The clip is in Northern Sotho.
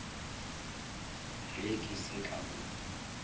ge ke se ka go